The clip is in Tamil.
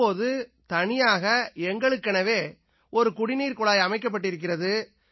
இப்போது தனியாக எங்களுக்கெனவே ஒரு குடிநீர்க்குழாய் அமைக்கப்பட்டிருக்கிறது